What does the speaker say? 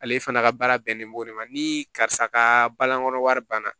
Ale fana ka baara bɛnnen b'o de ma ni karisa ka balanko wari banna